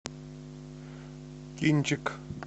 кинчик